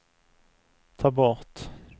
ta bort